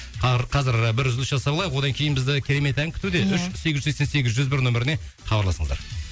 ар қазір ы бір үзіліс жасап алайық одан кейін бізді керемет ән күтуде иә үш сегіз жүз сексен сегіз жүз бір нөмеріне хабарласыңыздар